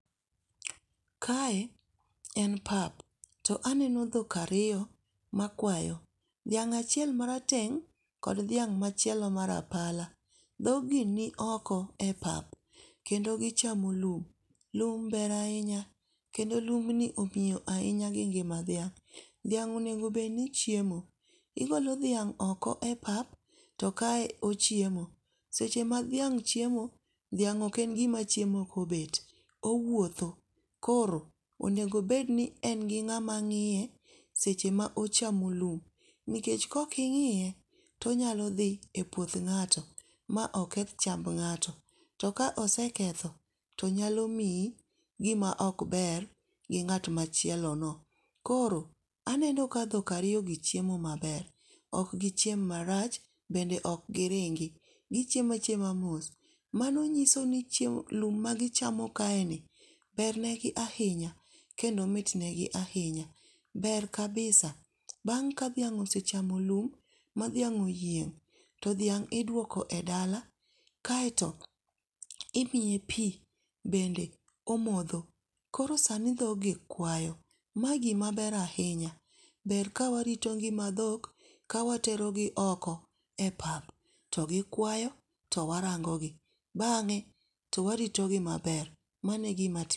Kae en pap, to aneno dhok ariyo makwayo, dhiang' achiel marateng' kod dhiang' machielo marapala, dhog gi nioko e pap kendo gichamo lum, lum ber ahinya, kendo lumni ong'iyo ahinya gi ngima dhiang'. Dhiang' onego bed ni ochiemo, ogolo dhiang' oko e pap to kae ochiemo, seche ma dhiang' chiemo, dhiang ok en gimachiemo kobet owuotho, koro onego bed ni en gi ng'ama ng'iye seche ma ochamo lum, nikech ka oking'iye to onyalo dhi e puoth ng'ato ma oketh chamb ng'ato, to ka oseketho to nyalo miyi gima ok ber to gi ng'at machielono. Koro aneno ka dhok ariyogi chiemo maber, ok gichiem marach bende ok giringi, gichiemo achiama mos, mano nyiso ni lum magichamo kaeni bernegi ahinya kendo mitnegi ahinya ber kabisa, bang' ka dhiang' kosechamo lum madhiang' oyieng' to dhiang' iduoko e dala, kaeto imiye pi bende omotho. Koro sani dhogi kwayo mano gimaber ahinya, ber kawarito ng'ima dhok kawaterogi oko e pap to gikwayo to warango gi, bang'e to waritogi maber mano e gima timore kae